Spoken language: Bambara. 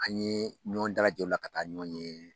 An ye ɲɔgɔn dalajɛ o la ka taa ɲɔgɔn ye.